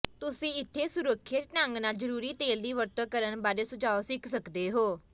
ਤੁਸੀਂ ਇੱਥੇ ਸੁਰੱਖਿਅਤ ਢੰਗ ਨਾਲ ਜ਼ਰੂਰੀ ਤੇਲ ਦੀ ਵਰਤੋਂ ਕਰਨ ਬਾਰੇ ਸੁਝਾਅ ਸਿੱਖ ਸਕਦੇ ਹੋ